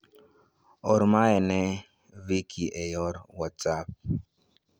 Or mae ni Vikki e yor whatsapp.